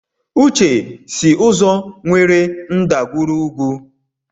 Uche si ụzọ nwere ndagwurugwu.